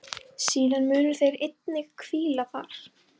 Síðar munu þeir einnig hvíla þar.